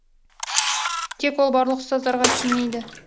тек ол барлық ұстаздарға тимейді